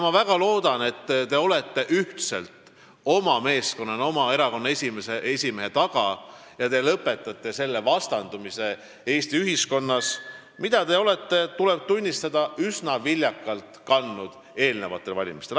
Ma väga loodan, et te olete ühtselt, meeskonnana oma erakonna esimehe taga ja lõpetate selle vastandumise Eesti ühiskonnas, mida te olete, tuleb tunnistada, üsna viljakalt kandnud eelmistel valimistel.